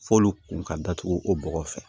F'olu kun ka datugu o bɔgɔ fɛ